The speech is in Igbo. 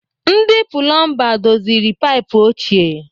Ndị Pụlọmba doziri paịpụ ochie.